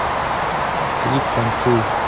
клип танцуй